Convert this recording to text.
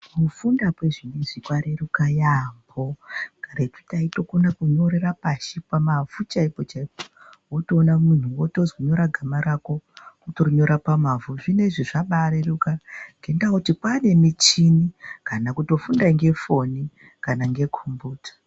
Kufunda kwezvinoizvi kwareruka yaamho, karetu taitokona kunyorera pamavhu chaipo chaipo. Votoona muntu votozwi nyora gama rako votorinyora pamavhu. Zvinoizvi zvabareruka ngendaa yekuti kwane michini kana kutofunda ngefoni kana ngekombiyuta.